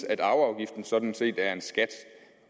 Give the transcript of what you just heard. at arveafgiften sådan set er en skat